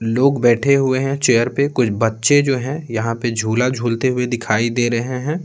लोग बैठे हुए हैं चेयर पे कुछ बच्चे जो हैं यहां पे झूला झूलते हुए दिखाई दे रहे हैं।